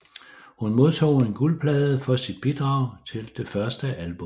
Hun modtog en guldplade for sit bidrag til det første album